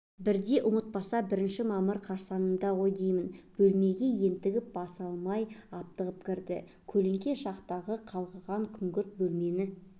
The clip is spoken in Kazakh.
бірде ұмытпаса бірінші мамыр қарсаңы ғой деймін бөлмеге ентігін баса алмай аптығып кірді көлеңке жақтағы қалғыған күңгірт бөлмені